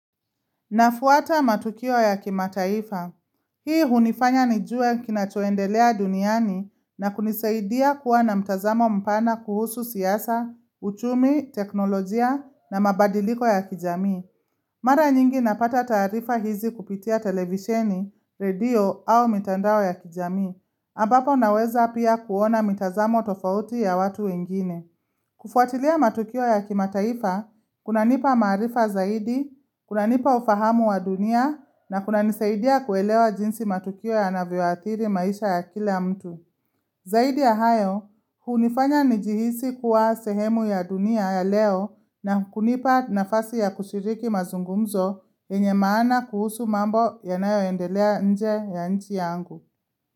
Nafuata matukio ya kimataifa. Hii hunifanya nijue kinachoendelea duniani na kunisaidia kuwa na mtazamo mpana kuhusu siasa, uchumi, teknolojia na mabadiliko ya kijamii. Mara nyingi napata taarifa hizi kupitia televisheni, radio au mitandao ya kijamii. Ambapo naweza pia kuona mitazamo tofauti ya watu wengine. Kufuatilia matukio ya kimataifa, kuna nipa maarifa zaidi, kuna nipa ufahamu wa dunia na kuna nisaidia kuelewa jinsi matukio ya navyoathiri maisha ya kila mtu. Zaidi ya hayo, hunifanya nijihisi kuwa sehemu ya dunia ya leo na kunipa nafasi ya kushiriki mazungumzo yenye maana kuhusu mambo yanayo endelea nje ya nchi yangu.